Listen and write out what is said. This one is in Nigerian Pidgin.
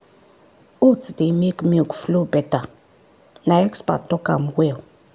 oats dey make milk flow better na expert talk am well.